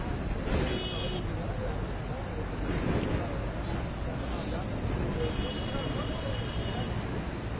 Yenə deyirəm yəni qəşəng bir yerdir, burda yəni nə varsa, hamısını yəni burda əhatə olunub.